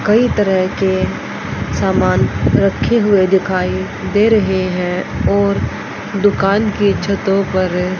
कई तरह के सामान रखे हुए दिखाई दे रहे हैं और दुकान की छतो पर--